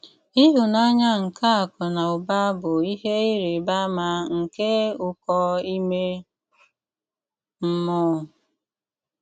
Íhụ́nànyà nké àkụ nà ụ́bà bụ́ íhé írị́bà àmà nké ụ́kò ímé mmụ̀ọ́.